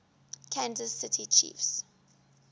kansas city chiefs